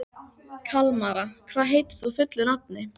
Kalmara, hvað heitir þú fullu nafni?